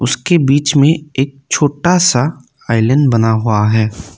उसके बीच में एक छोटा सा आइलैंड बना हुआ है।